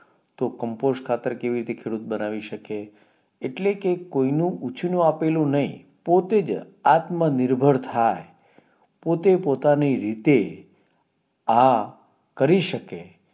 તો કમ્પોઝ ખાતર ખેડૂત કેવી રીતે બનાવી શકે એટલે કે કોઈ નું ઉછી નું આપેલું નઈ પોતે જ આત્મ નિર્ભર થાય પોતે પોતાની રીતે આ કરી શકે